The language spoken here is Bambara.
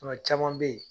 Tuma caman bɛ ye